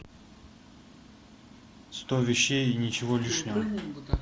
сто вещей и ничего лишнего